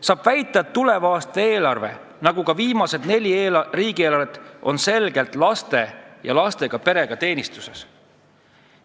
On alust väita, et tuleva aasta eelarve, nagu ka viimased neli riigieelarvet, on selgelt laste ja lastega perede teenistuses.